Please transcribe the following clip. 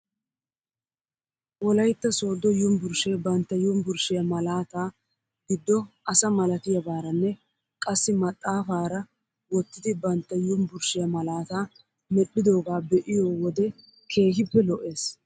Wolaytta sooddo yumbburshshee bantta yumbburshshiyaa malaataa giddo asa malatiyaabaaranne qassi maxaafaara wottidi bantta yumbburshshiyaa malaataa medhdhidoogaa be'iyoo wode keehippe lo'es